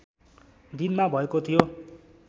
दिनमा भएको थियो